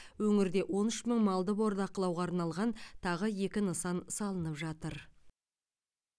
өңірде он үш мың малды бордақылауға арналған тағы екі нысан салынып жатыр